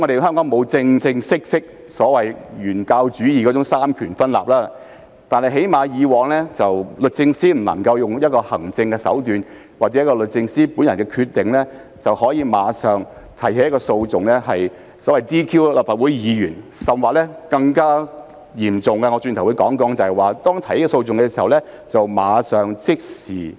香港沒有所謂"原教旨主義"的三權分立，但以往律政司司長最少不能用行政手段或按照律政司司長本人的決定便立即提起訴訟 ，"DQ" 立法會議員，甚至在提起訴訟時，便立即凍結議員的權責，由於已獲政府接受，其薪津亦立即受到影響。